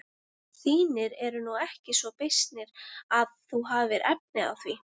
Þínir eru nú ekki svo beysnir að þú hafir efni á því.